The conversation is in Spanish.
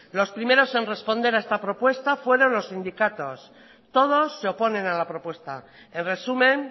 los primeros en responder a esta propuesta fueron los sindicatos todos se oponen a la propuesta en resumen